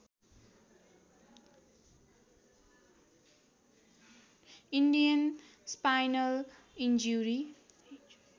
Indian spinal injury